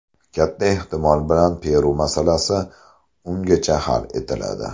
Katta ehtimol bilan Peru masalasi ungacha hal etiladi.